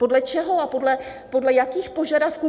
Podle čeho a podle jakých požadavků?